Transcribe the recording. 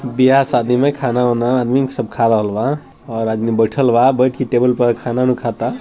ब्याह - शादी में खाना-ऊना आदमी सब खा रहल बा और आदमी बैठल बा बैठ के टेबल खाना-ओना खाता |